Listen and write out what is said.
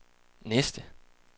næste